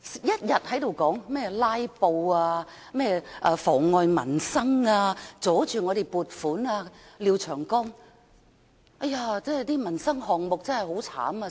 一天到晚也有人說，"拉布"妨礙民生、阻礙撥款，例如廖長江議員說：民生項目真的被"拉"得很慘等。